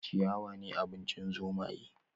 Ciyawa ne abincin zomaye